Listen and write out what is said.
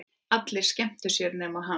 Allir skemmtu sér nema hann.